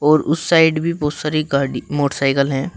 और उस साइड भी बहुत सारी गाड़ी मोटरसाइकिल हैं।